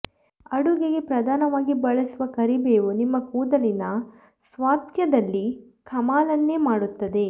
ಅಡುಗೆಗೆ ಪ್ರಧಾನವಾಗಿ ಬಳಸುವ ಕರಿಬೇವು ನಿಮ್ಮ ಕೂದಲಿನ ಸ್ವಾಸ್ಥ್ಯದಲ್ಲಿ ಕಮಾಲನ್ನೇ ಮಾಡುತ್ತದೆ